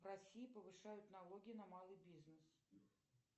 в россии повышают налоги на малый бизнес